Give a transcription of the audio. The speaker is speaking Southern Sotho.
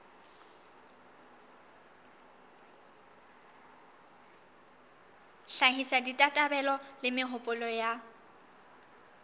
hlahisa ditabatabelo le mehopolo ya